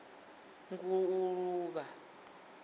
nguluvha